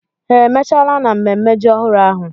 Ha emechala n'ememme ji ọhụrụ ahụ?